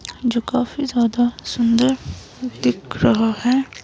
जो काफी ज्यादा सुंदर दिख रहा है।